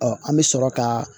an bɛ sɔrɔ ka